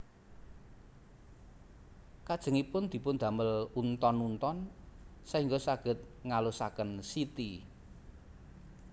Kajengipun dipun damel unton unton saéngga saged ngalusaken siti